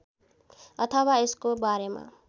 अथवा यसको बारेमा